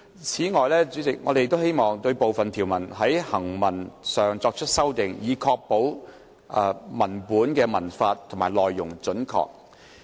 此外，我們亦希望對部分條文在行文上作出修訂，以確保文本文法和內容準確。